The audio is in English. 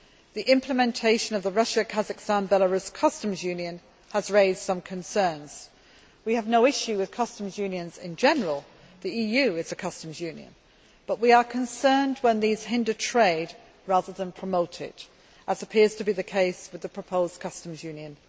The implementation of the Russia Kazakhstan Belarus Customs Union has raised some concerns. We have no issue with customs unions in general the EU is a customs union but we are concerned when these hinder trade rather than promote it, as appears to be the case with the proposed customs union.